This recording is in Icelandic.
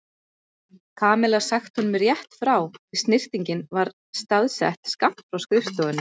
Kamilla sagt honum rétt frá því snyrtingin var staðsett skammt frá skrifstofunni.